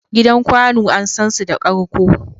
Gidan kwanu an san su da karƙo.